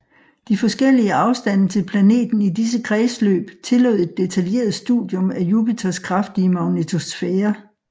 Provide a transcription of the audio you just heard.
De forskellige afstande til planeten i disse kredsløb tillod et detaljeret studium af Jupiters kraftige magnetosfære